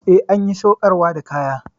Eh, an ƴi saukarwa da kaya.